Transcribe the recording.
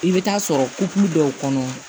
I bɛ taa sɔrɔ kulu dɔw kɔnɔ